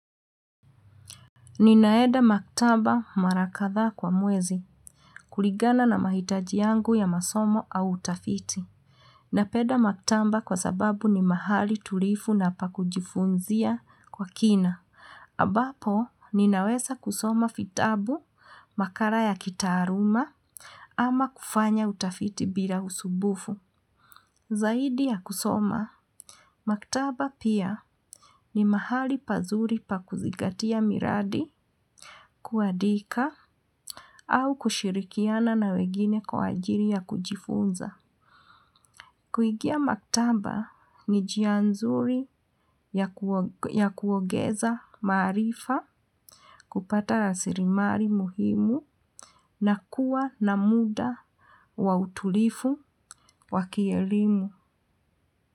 Ninaeda maktaba mara kadhaa kwa mwezi, kulingana na mahitaji yangu ya masomo au utafiti. Napenda maktaba kwa sababu ni mahali tulivu na pa kujifunzia kwa kina. Ambapo, ninaweza kusoma vitabu, makala ya kitaaluma, ama kufanya utafiti bila usumbufu. Zaidi ya kusoma, maktaba pia ni mahali pazuri pa kuzingatia miradi kuandika au kushirikiana na wengine kwa ajili ya kujifunza. Kuingia maktaba ni njia nzuri ya kuongeza maarifa kupata la sirimali muhimu na kuwa na muda wa utulivu wa kielimu.